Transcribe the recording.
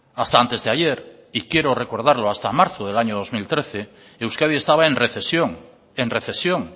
hasta antes de ayer y quiero recordarlo hasta marzo del año dos mil trece euskadi estaba en recesión en recesión